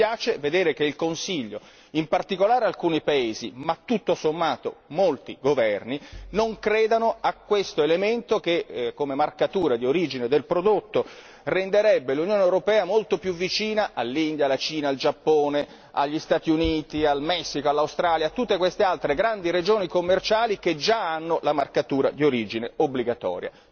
Dispiace dover constatare che il Consiglio, in particolare alcuni paesi, ma tutto sommato molti governi, non credono a questo elemento di marcatura di origine del prodotto che renderebbe l'Unione europea molto più vicina all'India, alla Cina, al Giappone, agli Stati Uniti, al Messico, all'Australia, a tutte queste altre grandi regioni commerciali che già hanno la marcatura di origine obbligatoria.